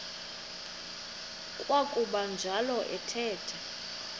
kwakuba njalo athetha